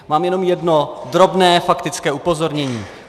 Mám jenom jedno drobné faktické upozornění.